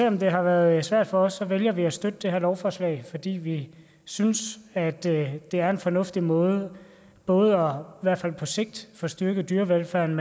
om det har været svært for os vælger vi at støtte det her lovforslag fordi vi synes at det er en fornuftig måde både i hvert fald på sigt at få styrket dyrevelfærden